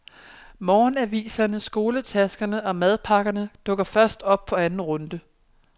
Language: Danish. Morgenaviserne, skoletaskerne og madpakkerne dukker først op på anden runde.